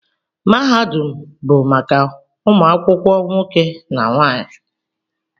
Mahadum bụ maka ụmụ akwụkwọ nwoke na nwaanyị